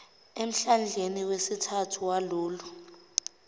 emhlandleni wesithathu walolo